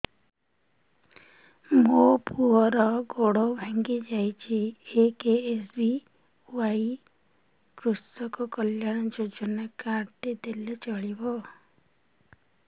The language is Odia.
ମୋ ପୁଅର ଗୋଡ଼ ଭାଙ୍ଗି ଯାଇଛି ଏ କେ.ଏସ୍.ବି.ୱାଇ କୃଷକ କଲ୍ୟାଣ ଯୋଜନା କାର୍ଡ ଟି ଦେଲେ ଚଳିବ